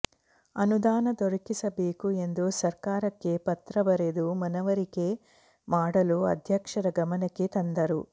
ಅನುದಾನ ದೊರಕಿಸಬೇಕು ಎಂದು ಸರ್ಕಾರಕ್ಕೆ ಪತ್ರ ಬರೆದು ಮನವರಿಕೆ ಮಾಡಲು ಅಧ್ಯಕ್ಷರ ಗಮನಕ್ಕೆ ತಂದರು